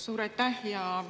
Suur aitäh!